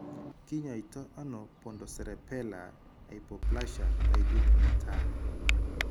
Kinyoitoono pontocerebellar hypoplasia taipit netaa